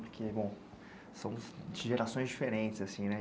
Porque, bom, são de gerações diferentes, assim, né?